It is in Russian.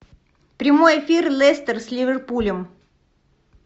прямой эфир лестер с ливерпулем